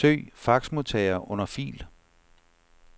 Søg faxmodtager under fil.